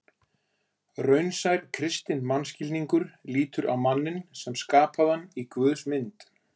Raunsær kristinn mannskilningur lítur á manninn sem skapaðan í Guðs mynd.